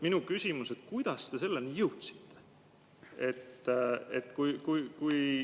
Minu küsimus: kuidas te selleni jõudsite?